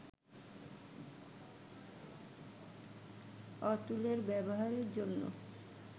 অতুলের ব্যবহারের জন্য